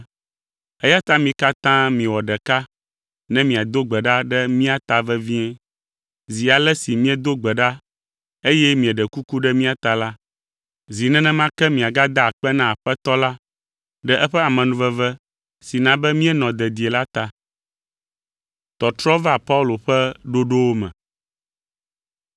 Eya ta mi katã miwɔ ɖeka ne miado gbe ɖa ɖe mía ta vevie. Zi ale si miedo gbe ɖa eye mieɖe kuku ɖe mía ta la, zi nenema ke miagada akpe na Aƒetɔ la ɖe eƒe amenuveve si na be míenɔ dedie la ta.